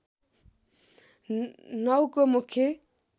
९ को मुख्य